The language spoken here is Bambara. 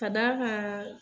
Ka d'a kan